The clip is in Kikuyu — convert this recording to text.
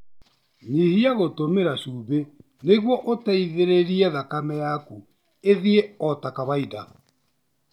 Nyihia gũtũmĩra cumbĩ nĩguo ũteithĩrĩrie thakame yaku ĩthiĩ ota kawaida.